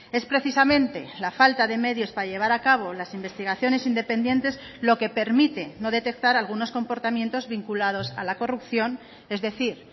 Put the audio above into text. es precisamente la falta de medios para llevar a cabo las investigaciones independientes lo que permite no detectar algunos comportamientos vinculados a la corrupción es decir